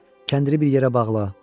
Kəndiri bir yerə bağla.